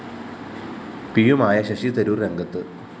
പിയുമായ ശശി തരൂര്‍ രംഗത്ത്